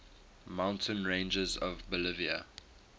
mountain ranges of bolivia